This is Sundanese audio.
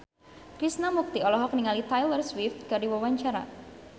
Krishna Mukti olohok ningali Taylor Swift keur diwawancara